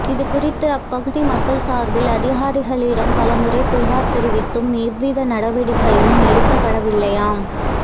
இதுகுறித்து அப்பகுதி மக்கள் சாா்பில் அதிகாரிகளிடம் பலமுறை புகாா் தெரிவித்தும் எவ்வித நடவடிக்கையும் எடுக்கப்படவில்லையாம்